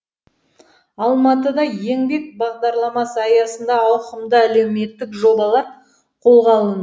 алматыда еңбек бағдарламасы аясында ауқымды әлеуметтік жобалар қолға алынды